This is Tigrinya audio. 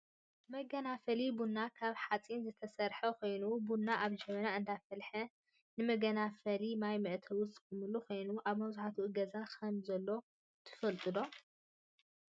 መገናፈሊ ቡና ካብ ሓፂን ዝተሰረሓ ኮይኑ ቡና ኣብ ጀበና እንዳፈለሓ ንመጋናፈልን ማይ መእተውን ዝጠቅም ኮይኑ፣ ኣብ መብዛሕቲኡ ገዛ ከምዘሎ ትፈልጡ ዶ?